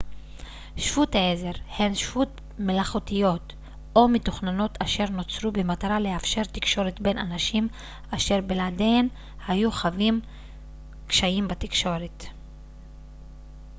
שפות עזר הן שפות מלאכותיות או מתוכננות אשר נוצרו במטרה לאפשר תקשורת בין אנשים אשר בלעדיהן היו חווים קשיים בתקשורת